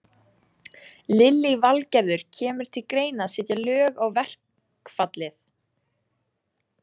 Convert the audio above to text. Lillý Valgerður: Kemur til greina að setja lög á verkfallið?